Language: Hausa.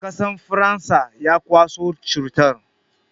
Akasan faransa ya kwaso cutan